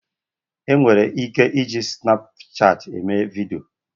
E nwere ike iji snapchat eme video.